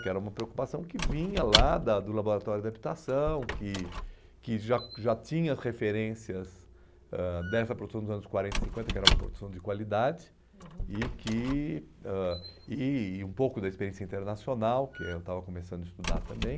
que era uma preocupação que vinha lá da do laboratório de habitação, que que já já tinha referências ãh dessa produção dos anos quarenta e cinquenta, que era uma produção de qualidade, uhum, e que ãh e e um pouco da experiência internacional, que eu estava começando a estudar também.